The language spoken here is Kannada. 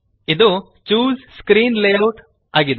ಇದು ಚೂಸ್ ಸ್ಕ್ರೀನ್ ಲೇಔಟ್ ಇದೆ